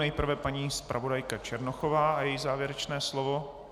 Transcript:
Nejprve paní zpravodajka Černochová a její závěrečné slovo.